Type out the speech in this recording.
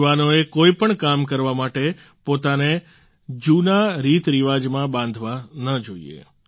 યુવાનોએ કોઈપણ કામ કરવા માટે પોતાને જૂના રીતરિવાજમાં બાંધવા ન જોઈએ